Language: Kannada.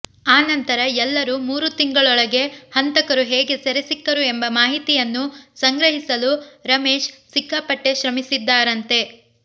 ಆ ನಂತರ ಎಲ್ಲರೂ ಮೂರು ತಿಂಗಳೊಳಗೆ ಹಂತಕರು ಹೇಗೆ ಸೆರೆಸಿಕ್ಕರು ಎಂಬ ಮಾಹಿತಿಯನ್ನು ಸಂಗ್ರಹಿಸಲು ರಮೇಶ್ ಸಿಕ್ಕಾಪಟ್ಟೆ ಶ್ರಮಿಸಿದ್ದಾರಂತೆ